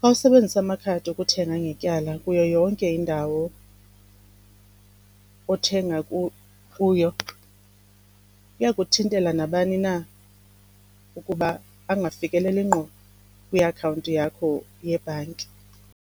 Xa usebenzisa amakhadi okuthenga ngetyala kuyo yonke indawo othenga kuyo kuya kuthintela nabani na ukuba angafikeleli ngqo kwiakhawunti yakho yebhanki.